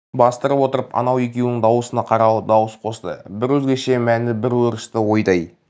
бастырып отырып анау екеуінің дауысына қаралы дауыс қосты бір өзгеше мәні бар өрісті ойдай